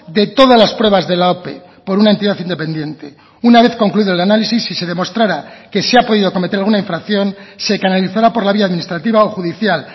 de todas las pruebas de la ope por una entidad independiente una vez concluido el análisis si se demostrará que se ha podido cometer alguna infracción se canalizará por la vía administrativa o judicial